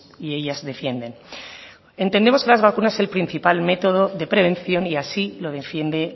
y ellas defienden entendemos que las vacunas es el principal método de prevención y así lo defiende